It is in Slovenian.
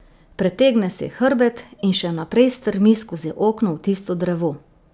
Pretegne si hrbet in še naprej strmi skozi okno v tisto drevo.